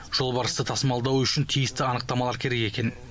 жолбарысты тасымалдау үшін тиісті анықтамалар керек екен